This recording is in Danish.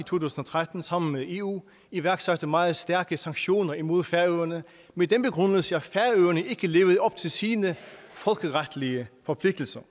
tusind og tretten sammen med eu iværksatte meget stærke sanktioner imod færøerne med den begrundelse at færøerne ikke levede op til sine folkeretlige forpligtelser